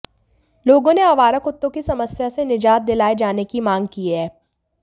लोगों ने आवारा कुत्तों की समस्या से निजात दिलाए जाने की मांग की है